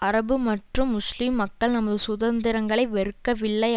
அரபு மற்றும் முஸ்லீம் மக்கள் நமது சுதந்திரங்களை வெறுக்கவில்லை